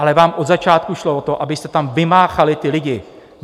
Ale vám od začátku šlo o to, abyste tam vymáchali ty lidi.